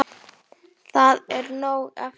Það er nóg eftir.